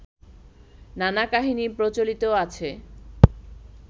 নানা কাহিনী প্রচলিত আছে